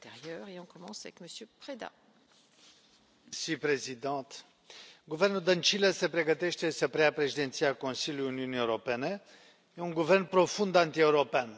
Doamna președintă, guvernul Dăncilă se pregătește să preia președinția Consiliului Uniunii Europene. E un guvern profund antieuropean.